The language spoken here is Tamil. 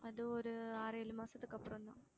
அது ஒரு ஆறு ஏழு மாசத்துக்கு அப்புறம்தான்